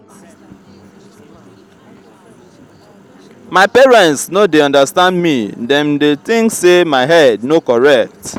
my parents no dey understand me dem dey think say my head no correct.